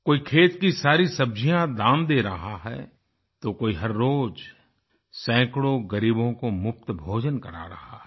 कोई खेत की सारी सब्जियाँ दान दे रहा है तो कोई हर रोज़ सैकड़ों ग़रीबों को मुफ़्त भोजन करा रहा है